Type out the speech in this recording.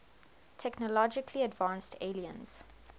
technologically advanced aliens